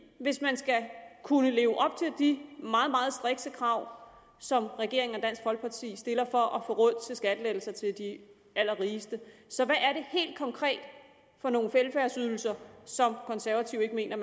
hvis man skal kunne leve op de meget meget strikse krav som regeringen og dansk folkeparti stiller for at få råd til skattelettelser til de allerrigeste så hvad er det helt konkret for nogle velfærdsydelser som konservative ikke mener